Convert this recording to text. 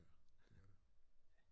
Ja det er det